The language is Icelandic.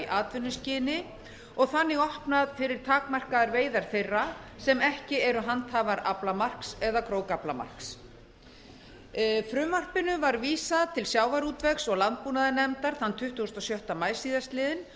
atvinnuskyni og þannig opnað fyrir takmarkaðar veiðar þeirra sem ekki eru handhafar aflamarks eða krókaflamarks frumvarpinu var vísað til sjávarútvegs og landbúnaðarnefndar þann tuttugasta og sjötta maí síðastliðinn